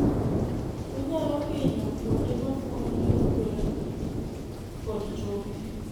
onyalo hinyo kuonde ma fuoni tudore kod choke